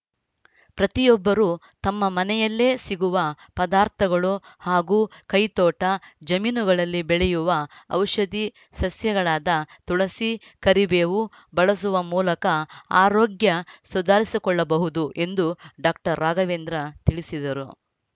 ಪ್ರತಿಯೊಬ್ಬರು ತಮ್ಮ ಮನೆಯಲ್ಲೇ ಸಿಗುವ ಪದಾರ್ಥಗಳು ಹಾಗೂ ಕೈತೋಟ ಜಮೀನುಗಳಲ್ಲಿ ಬೆಳೆಯುವ ಔಷಧಿ ಸಸ್ಯಗಳಾದ ತುಳಸಿ ಕರಿಬೇವು ಬಳಸುವ ಮೂಲಕ ಆರೋಗ್ಯ ಸುಧಾರಿಸಿಕೊಳ್ಳಬಹುದು ಎಂದು ಡಾಕ್ಟರ್ ರಾಘವೇಂದ್ರ ತಿಳಿಸಿದರು